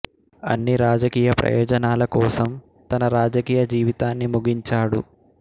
అన్ని రాజకీయ ప్రయోజనాల కోసం తన రాజకీయ జీవితాన్ని ముగించాడు